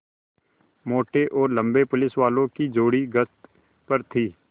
मोटे और लम्बे पुलिसवालों की जोड़ी गश्त पर थी